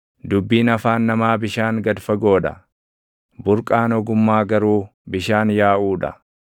Dubbiin afaan namaa bishaan gad fagoo dha; burqaan ogummaa garuu bishaan yaaʼuu dha.